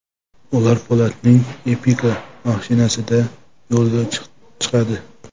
Ular Po‘latning Epica mashinasida yo‘lga chiqadi.